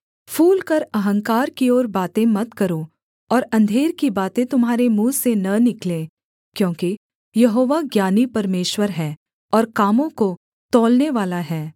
फूलकर अहंकार की ओर बातें मत करो और अंधेर की बातें तुम्हारे मुँह से न निकलें क्योंकि यहोवा ज्ञानी परमेश्वर है और कामों को तौलनेवाला है